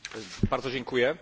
Szanowni Państwo!